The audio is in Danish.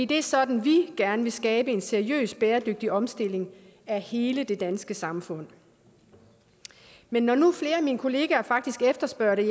det er sådan vi gerne vil skabe en seriøs bæredygtig omstilling af hele det danske samfund men når nu flere af mine kollegaer faktisk efterspørger det